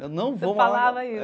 Eu não vou morar... Você falava isso?